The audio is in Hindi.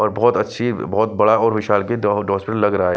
और बहुत अच्छी बहुत बड़ा और विशाल की दो हॉस्पिटल लग रहा है।